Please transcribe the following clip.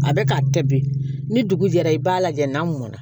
A bɛ ka kɛ bi ni dugu jɛra i b'a lajɛ n'a mɔna